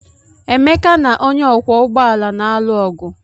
Emeka na onye ọkwọ ụgbọala na-alụ ọgụ.